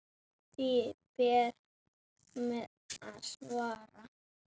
Því ber mér að svara.